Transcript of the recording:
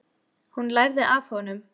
Hún lærði af honum.